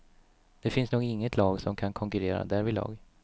Det finns nog inget lag som kan konkurrera därvidlag.